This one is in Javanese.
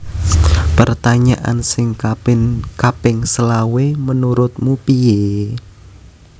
Pertanyaan sing kaping selawe menurutmu pie?